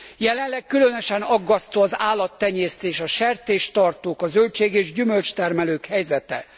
Jelenleg különösen aggasztó az állattenyésztés, a sertéstartók, a zöldség és gyümölcstermelők helyzete.